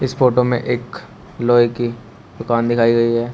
इस फोटो में एक लोहे की दुकान दिखाई गई है।